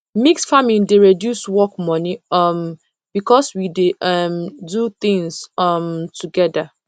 mix farming dey reduce work money um because we dey um do things um together